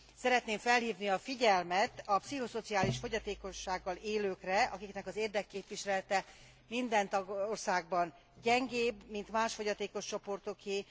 Szeretném felhívni a figyelmet a pszichoszociális fogyatékossággal élőkre, akiknek az érdekképviselete minden tagországban gyengébb, mint más fogyatékos csoportoké.